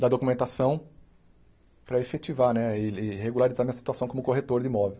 da documentação para efetivar né e e regularizar minha situação como corretor de imóvel.